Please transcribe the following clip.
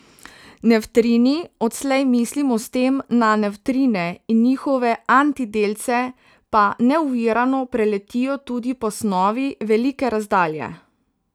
Nevtrini, odslej mislimo s tem na nevtrine in njihove antidelce, pa neovirano preletijo tudi po snovi velike razdalje.